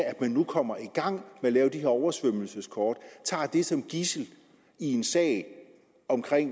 at man nu kommer i gang med at lave de her oversvømmelseskort som gidsel i en sag om